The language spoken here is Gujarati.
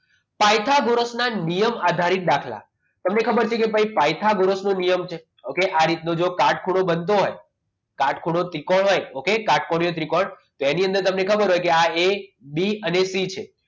પાયથાગોરસ ના નિયમ આધારિત દાખલા તમે ખબર નહિ કહી પાયથાગોરસનો નિયમ છે okay આ રીતના કાટખૂણો બનતો હોય કાટખૂણો ત્રિકોણ હોય okay કાટખૂણો ત્રિકોણ તો એની અંદર તમને ખબર આ a b અને c છે